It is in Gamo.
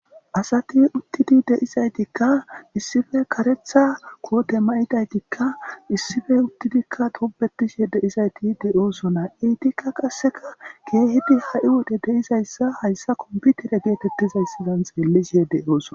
asati uttidi deizaytikka issife karetha koote mayidaytikka issife uttidikka dobetishe deizayti deyoosona iitikka qasseka geehidi ha7i wode deizayssa hayssa komputere geetettizayssidan xeellishe de'oosona